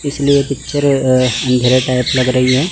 इसलिए पिक्चर अ अंधेरे टाइप लग रही है।